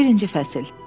Birinci fəsil.